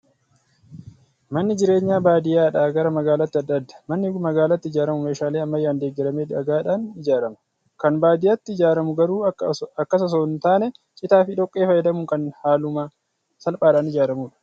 Manni jireenyaa baadiyyaadhaa gara maagaalaatti adda adda. Manni maagaalaatti ijaaramu meeshaalee ammayyaan deeggaramee dhagaadhaan ijaarama. Kan baadiyyaatti ijaaramu garuu akkas osoo hin taane, citaa fi dhoqqee fayyadamuun kan haaluma salphaadhaan ijaaramudha.